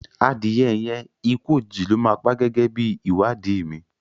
Adìye yẹn ikú òjìji ló máa pá gẹ́gẹ́ bí ìwádìí mi.